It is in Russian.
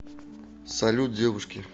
салют девушки